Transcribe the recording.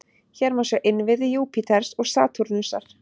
Hér má sjá innviði Júpíters og Satúrnusar.